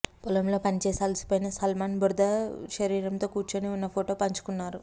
పొలంలో పనిచేసి అలసిపోయిన సల్మాన్ బురద శరీరంతో కూర్చొని ఉన్న ఫోటో పంచుకున్నారు